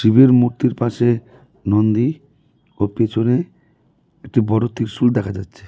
শিবের মূর্তির পাশে নন্দী ও পেছনে একটি বড় ত্রিশূল দেখা যাচ্ছে।